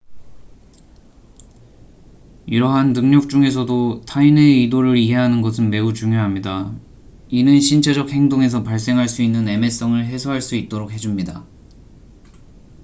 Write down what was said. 이러한 능력 중에서도 타인의 의도를 이해하는 것은 매우 중요합니다 이는 신체적 행동에서 발생할 수 있는 애매성을 해소할 수 있도록 해 줍니다